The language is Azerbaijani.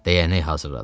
Dəyənək hazırladı.